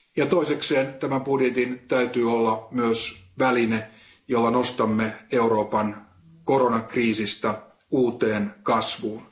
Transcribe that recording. Toiseksi tämän budjetin täytyy olla myös väline, jolla nostamme Euroopan koronakriisistä uuteen kasvuun.